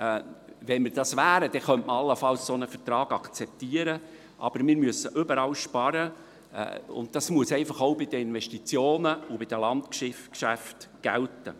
Wenn wir das wären, könnte man allenfalls einen solchen Vertrag akzeptieren, aber wir müssen überall sparen, und das muss einfach auch bei den Investitionen und bei den Landgeschäften gelten.